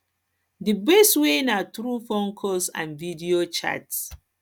di best way na through phone calls and video chats